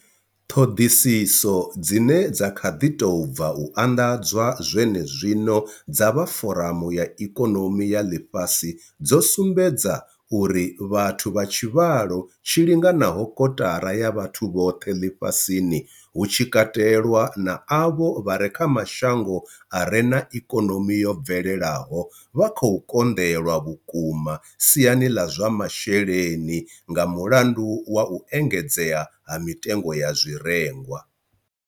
Ṱhoḓisiso dzine dza kha ḓi tou bva u anḓadzwa zwenezwino dza vha Foramu ya Ikonomi ya Ḽifhasi dzo sumbedza uri vhathu vha tshivhalo tshi linganaho kotara ya vhathu vhoṱhe ḽifhasini, hu tshi katelwa na avho vha re kha mashango a re na ikonomi yo bvelelaho, vha khou konḓelwa vhukuma siani ḽa zwa masheleni nga mulandu wa u engedzea ha mitengo ya zwirengwa.